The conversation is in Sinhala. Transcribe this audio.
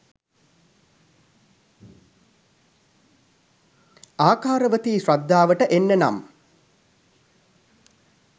ආකාරවතී ශ්‍රද්ධාවට එන්න නම්